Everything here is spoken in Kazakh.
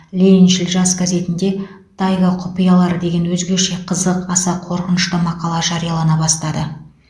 лениншіл жас газетінде тайга құпиялары деген өзгеше қызық аса қорқынышты мақала жариялана бастады